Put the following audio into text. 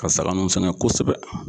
Ka saga nun sɛgɛn kosɛbɛ.